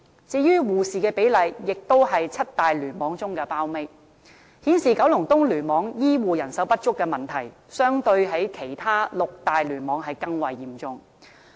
至於護士的比例，亦都是七大聯網中的包尾，顯示九龍東聯網醫護人手不足的問題，相對其他六大聯網更為嚴重。